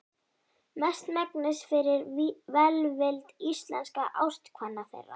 Mestmegnis fyrir velvild íslenskra ástkvenna þeirra.